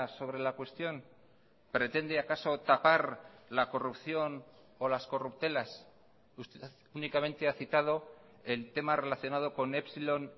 sobre la cuestión pretende acaso tapar la corrupción o las corruptelas usted únicamente ha citado el tema relacionado con epsilon